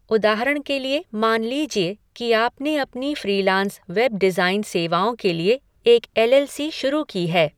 उदाहरण के लिए, मान लीजिए कि आपने अपनी फ़्रीलांस वेब डिज़ाइन सेवाओं के लिए एक एल एल सी शुरू की है।